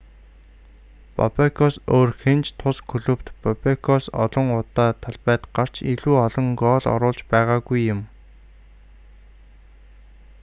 бобекоос өөр хэн ч тус клубт бобекоос олон удаа талбайд гарч илүү олон гоол оруулж байгаагүй юм